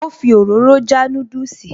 Ó fi òróró já núdùsì